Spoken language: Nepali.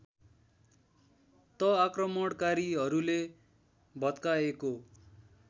त आक्रमणकारीहरूले भत्काएको